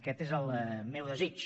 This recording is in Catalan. aquest és el meu desig